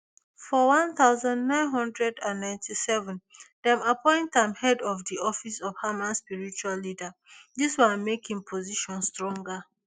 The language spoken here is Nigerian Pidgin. for one thousand, nine hundred and ninety-seven dem appoint am head of di office of hamas spiritual leader dis one make im position stronger